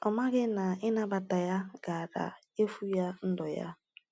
Ọ maghị na ịnabata ya gaara efu ya ndụ ya.